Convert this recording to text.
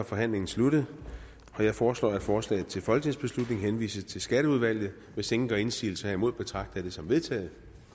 forhandlingen sluttet jeg foreslår at forslaget til folketingsbeslutning henvises til skatteudvalget hvis ingen gør indsigelse herimod betragter jeg det som vedtaget